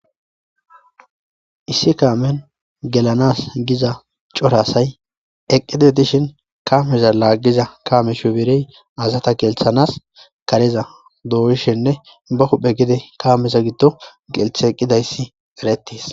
Issi kamen gelanas giza chora asay eqidi dishn kameza lagiza kame shupere asata gelsanas kareza doishnine bahupe gelsi gidon gelsi eqidaysi eretis.